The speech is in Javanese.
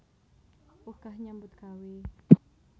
Wegah nyambut gawé